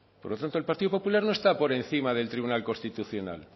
por lo tanto el partido popular no está por encima del tribunal constitucional